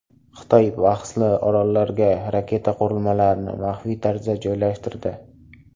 Xitoy bahsli orollarga raketa qurilmalarini maxfiy tarzda joylashtirdi.